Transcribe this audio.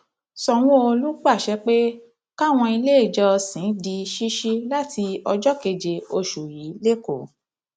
sanwóolu pàṣẹ pé káwọn iléèjọsìn di ṣíṣí láti ọjọ keje oṣù yìí lẹkọọ